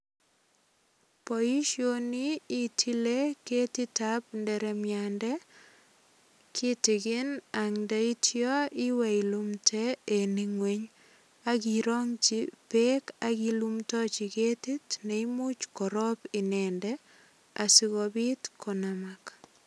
Boisioni itile ketitab inderemiande kitigin ak ndaitio iwe ilumde en ingweny ak irongji beek ak ilumdoji ketit neimuch korob inendet asikobit konamak.